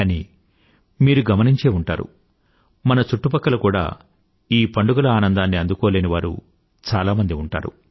కానీ మీరు గమనించే ఉంటారు మన చుట్టుపక్కల కూడా ఈ పండుగల ఆనందాన్ని అందుకోలేనివారు చాలామంది ఉంటారు